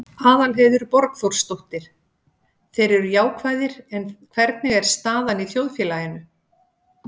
Aðalheiður Borgþórsdóttir: Þeir eru jákvæðir, en hvernig er staðan í þjóðfélaginu?